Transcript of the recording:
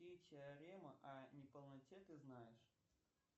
какие теоремы о неполноте ты знаешь